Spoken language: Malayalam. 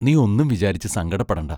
നീ ഒന്നും വിചാരിച്ചു സങ്കടപ്പെടണ്ട.